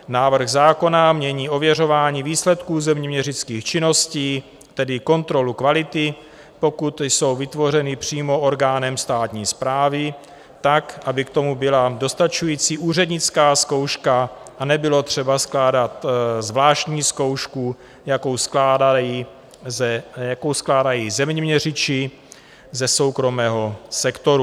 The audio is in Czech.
Návrh zákona mění ověřování výsledků zeměměřických činností, tedy kontrolu kvality, pokud jsou vytvořeny přímo orgánem státní správy, tak, aby k tomu byla dostačující úřednická zkouška a nebylo třeba skládat zvláštní zkoušku, jakou skládají zeměměřiči ze soukromého sektoru.